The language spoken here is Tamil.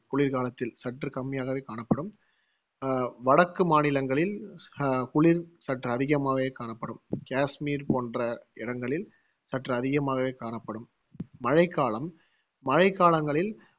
குளிர்காலத்தில் சற்று கம்மியாகவே காணப்படும் அஹ் வடக்கு மாநிலங்களில் அஹ் குளிர் சற்று அதிகமாகவே காணப்படும் காஷ்மீர் போன்ற இடங்களில் சற்று அதிகமாவே காணப்படும் மழைக்காலம் மழைக்காலங்களில்